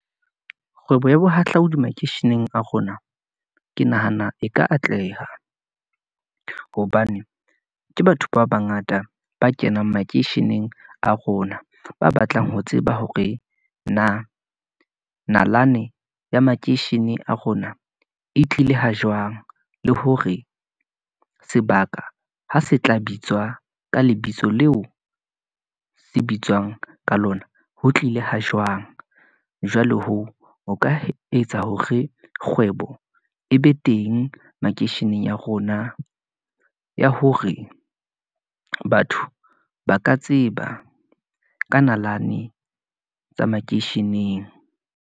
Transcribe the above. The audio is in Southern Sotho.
Kgwebo ya bohahlaodi makeisheneng a rona, ke nahana e ka atleha, hobane ke batho ba bangata ba kenang makeisheneng a rona, ba batlang ho tseba hore na nalane ya makeishene a rona, e tlile ha jwang, le hore sebaka ha se tla bitswa ka lebitso leo , se bitswang ka lona, ho tlile ho jwang. Jwalo hoo, ho ka etsa hore kgwebo e be teng makeisheneng ya rona, ya hore batho ba ka tseba ka nalane tsa makeisheneng.